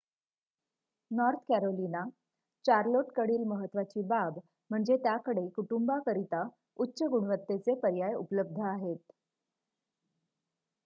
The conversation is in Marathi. नॉर्थ कॅरोलिना चार्लोटकडील महत्त्वाची बाब म्हणजे त्याकडे कुटुंबांकरिता उच्च-गुणवत्तेचे पर्याय उपलब्ध आहेत